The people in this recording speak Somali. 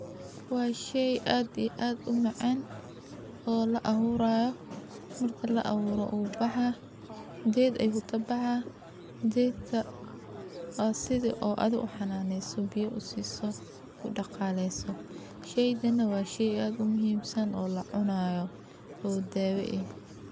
Waa shey aad iyo aad u macan oo la aburayo. Marka la aburo u baxaa ged ayu kabaxaa , gedka wa sidhi adhi u xananeso biyo u siso u daqaleso , sheygana wa shey aad u muhimsan oo lacunayo oo dawo eh.